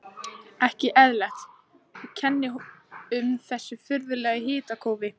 Ekki eðlilegt, og kennir um þessu furðulega hitakófi.